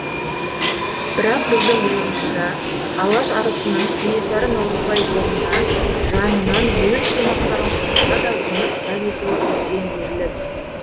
бірақ біздің ойымызша алаш арысының кенесары наурызбай жырына жанынан өз шумақтарын қосса да оны кітап етуі үлкен ерлік